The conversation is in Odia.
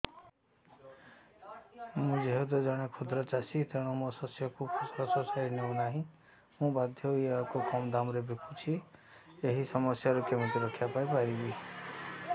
ମୁଁ ଯେହେତୁ ଜଣେ କ୍ଷୁଦ୍ର ଚାଷୀ ତେଣୁ ମୋ ଶସ୍ୟକୁ ଫସଲ ସୋସାଇଟି ନେଉ ନାହିଁ ମୁ ବାଧ୍ୟ ହୋଇ ଏହାକୁ କମ୍ ଦାମ୍ ରେ ବିକୁଛି ଏହି ସମସ୍ୟାରୁ କେମିତି ରକ୍ଷାପାଇ ପାରିବି